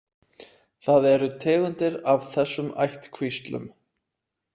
Það eru tegundir af þessum ættkvíslum.